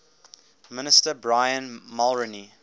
minister brian mulroney